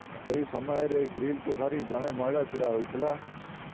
ସେହି ସମୟରେ ଗ୍ରୀଲକୁ ଧରି ଜଣେ ମହିଳା ଛିଡା ହୋଇଥିଲା